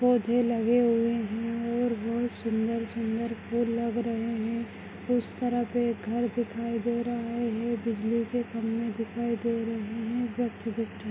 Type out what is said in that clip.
पौधे लगे हुए है और बहुत सुंदर सुंदर फूल लग रहे है उस तरफ उस तरफ एक घर दिखाई दे रहा है बिजली के खंबे दिखाई दे रहे है। --